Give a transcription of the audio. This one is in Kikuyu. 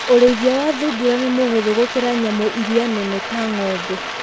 Ũrĩithia wa thungura nĩ mũhũthũ gũkĩra wa nyamũ iria nene ta ng'ombe.